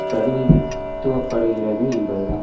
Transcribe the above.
பிரதிநிதித்துவப்படுகிறது என்பதுதான்